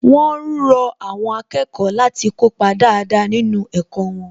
Wón rọ àwọn akẹ́kọ̀ọ́ láti kópa dáadáa nínú ẹ̀kọ́ wọn